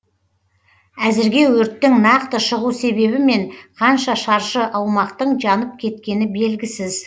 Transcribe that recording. әзірге өрттің нақты шығу себебі мен қанша шаршы аумақтың жанып кеткені белгісіз